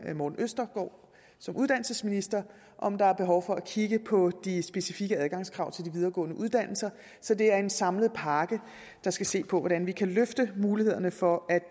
uddannelsesministeren om der er behov for at kigge på de specifikke adgangskrav til de videregående uddannelser så det er en samlet pakke der skal se på hvordan vi kan løfte mulighederne for at